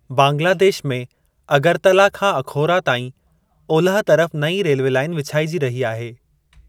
बांग्लादेश में अगरतला खां अखौरा ताईं ओलह तरफ़ नईं रेल्वे लाईन विछाइजी रही आहे।